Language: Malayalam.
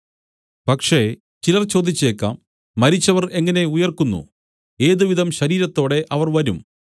പക്ഷേ ചിലർ ചോദിച്ചേക്കാം മരിച്ചവർ എങ്ങനെ ഉയിർക്കുന്നു ഏതുവിധം ശരീരത്തോടെ അവർ വരും